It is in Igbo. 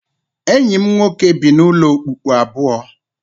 Enyi m nwoke bi n'ụlọ okpukpu abụọ